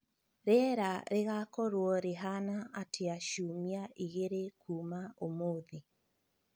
Rĩera rĩgaakorũo rĩhaana atĩa ciumia igĩrĩ kuuma ũmũthĩ?